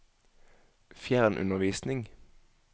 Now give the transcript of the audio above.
fjernundervisning